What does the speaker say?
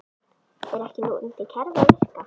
Er ekki núverandi kerfi að virka?